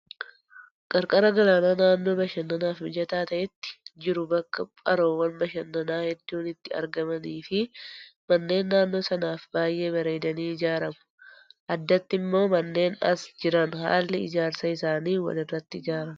Qarqara galaanaa naannoo bashannanaaf mijataa ta'etti jiru bakka haroowwan bashannanaa hedduun itti argamanii fi manneen naannoo sanaaf baay'ee bareedanii ijaaramu. Addatti immoo manneen as jiran haalli ijaarsa isaanii walirratti ijaaramu.